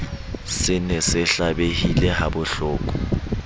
se ne se hlabehile habohloko